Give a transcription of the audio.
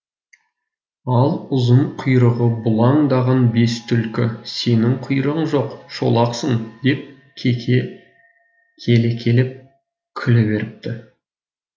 ал ұзын құйрығы бұлаңдаған бес түлкі сенің құйрығың жоқ шолақсың деп келекелеп күле беріпті